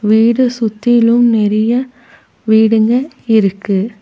வீடு சுத்திலும் நெறைய வீடுங்க இருக்கு.